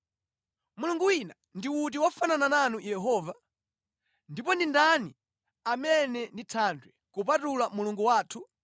Mulungu wina ndi uti wofanana nanu Yehova? Ndipo ndani amene ndi Thanthwe kupatula Mulungu wathu?